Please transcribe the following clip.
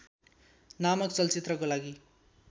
नामक चलचित्रको लागि